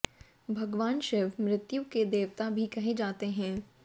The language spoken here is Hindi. भगवान शिव मृत्यु के देवता भी कहे जाते हैं